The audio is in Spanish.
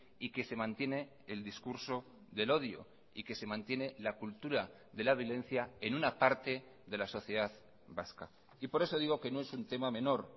y que se mantiene el discurso del odio y que se mantiene la cultura de la violencia en una parte de la sociedad vasca y por eso digo que no es un tema menor